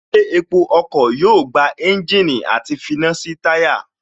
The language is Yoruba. Ilé epo ọkọ̀ yóò gba ẹ́ńjìnì àti finá sí táyà